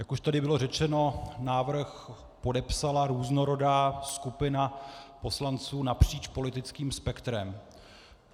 Jak už tady bylo řečeno, návrh podepsala různorodá skupina poslanců napříč politickým spektrem.